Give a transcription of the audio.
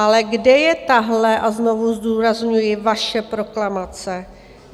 Ale kde je tahle - a znovu zdůrazňuji vaše - proklamace?